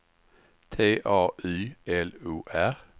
T A Y L O R